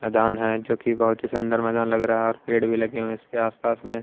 मैदान है जो कि बहुत ही सुंदर मैदान लग रहा है और पेड़ भी लगे हुए हैं इसके आसपास में।